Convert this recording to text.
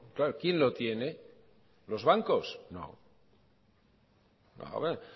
claro quién lo tiene los bancos no